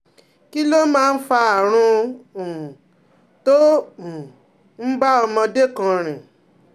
Kí ló máa ń fa àrùn um tó um ń bá ọmọdé kan rìn?